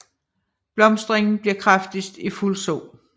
Blomstringen bliver kraftigst i fuld sol